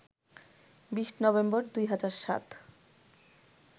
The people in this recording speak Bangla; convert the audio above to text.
২০ নভেম্বর, ২০০৭